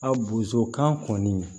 A bozokan kɔni